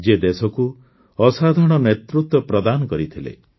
ଯିଏ ଦେଶକୁ ଅସାଧାରଣ ନେତୃତ୍ୱ ପ୍ରଦାନ କରିଥିଲେ